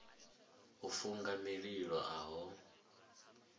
u funga mililo a ho